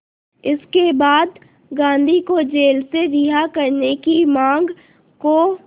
इसके बाद गांधी को जेल से रिहा करने की मांग को